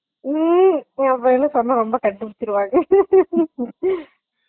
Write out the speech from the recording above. எஹ் அப்பிடி எல்லா சொன்ன கண்டுபிடுச்சுடுவாங்க Laugh